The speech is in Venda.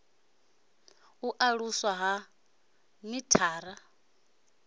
u aluswa ha ik na